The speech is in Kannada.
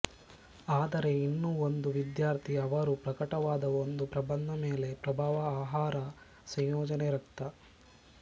ಆದರೆ ಇನ್ನೂ ಒಂದು ವಿದ್ಯಾರ್ಥಿ ಅವರು ಪ್ರಕಟವಾದ ಒಂದು ಪ್ರಬಂಧ ಮೇಲೆ ಪ್ರಭಾವ ಆಹಾರ ಸಂಯೋಜನೆ ರಕ್ತ